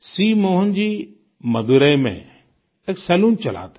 सी मोहन जी मदुरै में एक सलून चलाते हैं